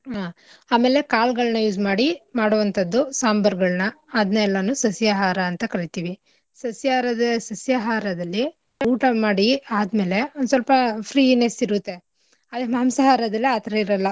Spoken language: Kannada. ಹಾ ಆಮೇಲೆ ಕಾಳ್ಗಳ್ನ use ಮಾಡಿ ಮಾಡುವಂಥದ್ದು ಸಾಂಬಾರ್ಗಳ್ನ ಅದ್ನೆಲ್ಲಾನೂ ಸಸ್ಯಾಹಾರ ಅಂತ ಕರಿತಿವಿ. ಸಸ್ಯಾಹಾರದ~ ಸಸ್ಯಾಹಾರದಲ್ಲಿ ಊಟ ಮಾಡಿ ಆದ್ಮೇಲೆ ಒಂದ್ಸ್ವಲ್ಪ freeness ಇರುತ್ತೆ ಅದ್ರೆ ಮಾಂಸಾಹಾರದಲ್ಲಿ ಆಥರ ಇರಲ್ಲ.